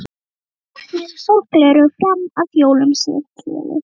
Ég gekk með sólgleraugu fram að jólum, segir Keli.